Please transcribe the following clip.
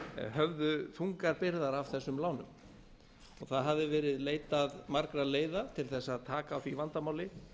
höfðu þungar byrðar af þessum lánum það hafði verið leitað margra leiða til þess að taka á því vandamáli